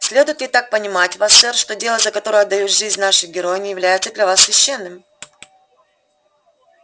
следует ли так понимать вас сэр что дело за которое отдают жизнь наши герои не является для вас священным